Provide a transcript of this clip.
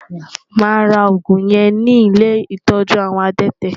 Máa ra òògùn yẹn ní ilé ìtọ́jú àwọn adẹ́tẹ̀.